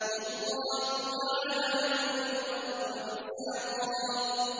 وَاللَّهُ جَعَلَ لَكُمُ الْأَرْضَ بِسَاطًا